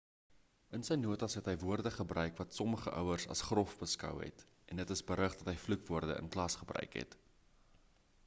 in sy notas het hy woorde gebruik wat sommige ouers as grof beskou het en dit is berig dat hy vloekwoorde in klas gebruik het